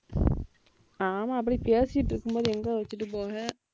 ஆமா அப்படி பேசிட்டு இருக்கும்போது எங்க வச்சிட்டு போவ